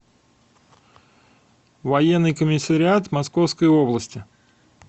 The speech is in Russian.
военный комиссариат московской области